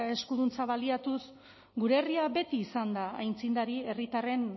eskuduntza baliatuz gure herria beti izan da aitzindari herritarren